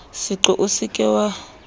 seqo o se ke wa